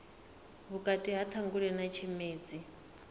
vhukati ha ṱhangule na tshimedzi